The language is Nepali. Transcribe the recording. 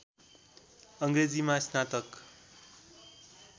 अङ्ग्रेजीमा स्नातक